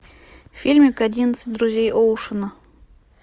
фильмик одиннадцать друзей оушена